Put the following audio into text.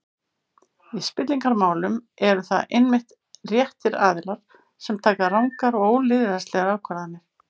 Í spillingarmálum eru það einmitt réttir aðilar sem taka rangar og ólýðræðislegar ákvarðanir.